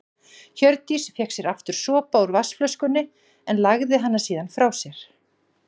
Hjördís fékk sér aftur sopa úr vatnsflöskunni en lagði hana síðan frá sér.